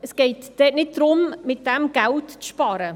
Es geht nicht darum, damit Geld zu sparen.